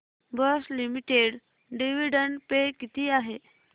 Bosch limited dividend pay किती आहे